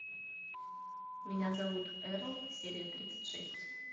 меня зовут эрл серия тридцать шесть